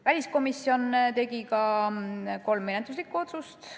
Väliskomisjon tegi ka kolm menetluslikku otsust.